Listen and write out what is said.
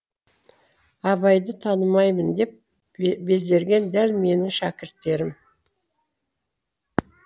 абайды танымаймын деп безерген дәл менің шәкірттерім